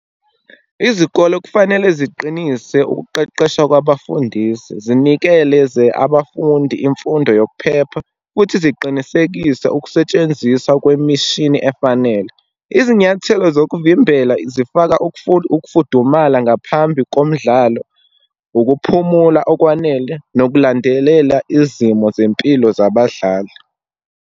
Izikolo kufanele ziqinise ukuqeqeshwa kwabafundisi, zinikeleze abafundi imfundo yokuphepha, futhi ziqinisekise ukusetshenziswa kwemishini efanele. Izinyathelo zokuvimbela zifaka, ukufudumala ngaphambi komdlalo, ukuphumula okwanele, nokulandelela izimo zempilo zabadlali.